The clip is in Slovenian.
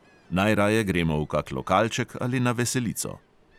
Najraje gremo v kak lokalček ali na veselico.